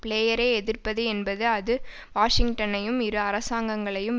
பிளேயரை எதிர்ப்பது என்பது அது வாஷிங்டனையும் இரு அரசாங்கங்களையும்